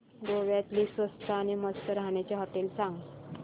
गोव्यातली स्वस्त पण मस्त राहण्याची होटेलं सांग